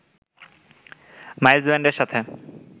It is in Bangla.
মাইলস ব্যান্ডের সাথে